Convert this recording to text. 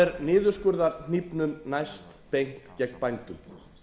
er niðurskurðarhnífnum næst beint gegn bændum